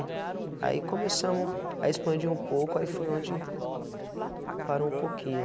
Aí começamos, aí expandi um pouco, aí foi onde parou um pouquinho.